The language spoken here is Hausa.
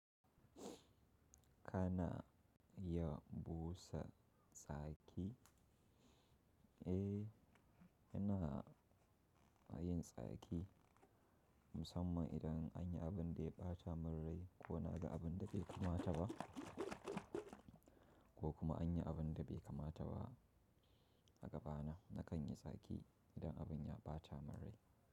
Kana iya busa tsaki? Eh, ina yin tsaki. Musamman idan anyi abun da ya ɓata mun rai ko na ga abun da bai kamata ba ko kuma anyi abun da bai kamata ba a gabana. Nakan yi tsaki idan abun ya ɓata mun rai.